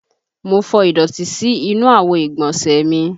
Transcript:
Mo fọ ìdọ̀tí sí inú àwo ìgbọ̀nsẹ̀ mi